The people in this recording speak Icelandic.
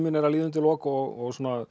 er að líða undir lok og